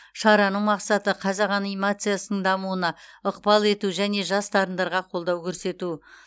шараның мақсаты қазақ анимациясының дамуына ықпал ету және жас дарындарға қолдау көрсету